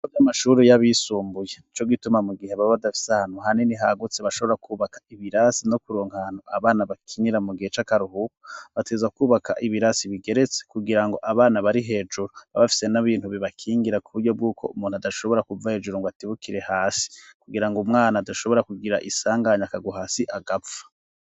Ibigo vy’amashure y'abisumbuye, nico gituma mu gihe baba badafise ahantu hanini, hagutse bashobora kubaka ibirasi, no kuronka ahantu abana bakinira mu gihe c'akaruhuko, bategerezwa kwubaka ibirasi bigeretse, kugira ngo abana bari hejuru, babe bafise n'ibintu bibakingira, kuburyo bw'uko umuntu adashobora kuva hejuru ngo atibukire hasi; kugira ngo umwana adashobora kugira isanganye akagwa hasi agapfa.